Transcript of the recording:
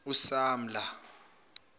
usamla